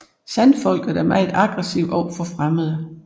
Sandfolket er meget aggressivt overfor fremmede